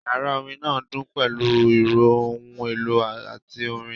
Yàrá orin náà dún pẹ̀lú ìró ohun èlò àti orin